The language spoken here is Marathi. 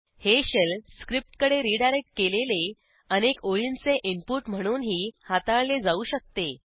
हे शेल स्क्रिप्टकडे रीडायरेक्ट केलेले अनेक ओळींचे इनपुट म्हणूनही हाताळले जाऊ शकते